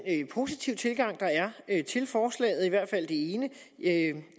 positive tilgang der er til forslaget i hvert fald til ene jeg